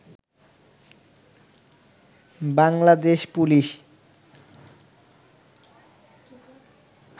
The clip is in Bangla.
বাংলাদেশ পুলিশ